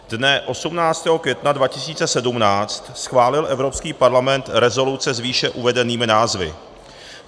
Dne 18. května 2017 schválil Evropský parlament rezoluce s výše uvedenými názvy.